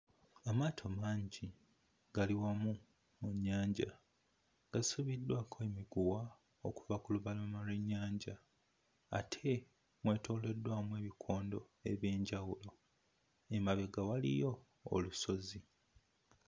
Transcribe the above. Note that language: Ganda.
Amaato mangi gali wamu mu nnyanja gasibiddwako emiguwa okuva ku lubalama lw'ennyanja ate mwetooloddwamu ebikondo eby'enjawulo, emabega waliyo olusozi.